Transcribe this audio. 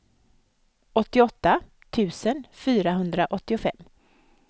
åttioåtta tusen fyrahundraåttiofem